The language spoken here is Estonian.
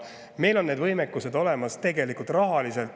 Meil on tegelikult see rahaline võimekus olemas.